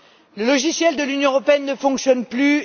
Le logiciel de l'Union européenne ne fonctionne plus.